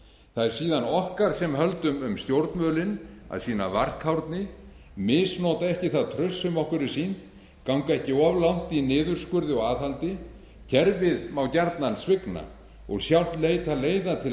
það er síðan okkar sem höldum um stjórnvölinn að sýna varkárni misnota ekki það traust sem okkur er sýnt ganga ekki of langt í niðurskurði og aðhaldi kerfið má gjarnan svigna og sjálft leita leiða til